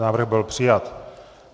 Návrh byl přijat.